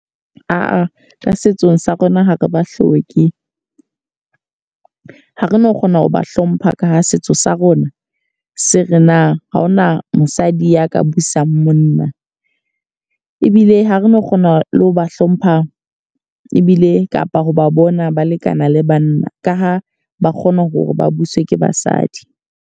Aa ka setsong sa rona ho re ba hloke. Ha re no kgona ho ba hlompha ka ha setso sa rona se re na ha hona mosadi ya ka busang monna. Ebile ha re no kgona le ho ba hlompha ebile kapa ho ba bona ba lekana le banna. Ka ha ba kgona hore ba buswe ke basadi.